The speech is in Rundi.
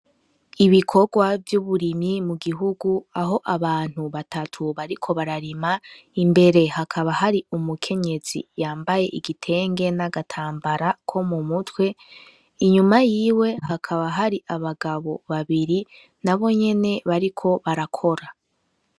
Ibikorwa vy'uburimyi mu gihugu, aho abantu batatu bariko bararima, imbere hakaba hari umukenyezi yambaye igitenge n'agatambara ko mu mutwe inyuma yiwe hakaba hari abagabo babiri nabo nyene bariko barakora.